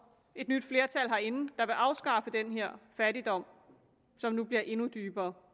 et nyt flertal herinde der vil afskaffe den her fattigdom som nu bliver endnu dybere